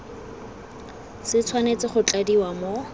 se tshwanetse go tladiwa mo